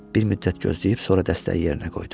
Bir müddət gözləyib sonra dəstəyi yerinə qoydu.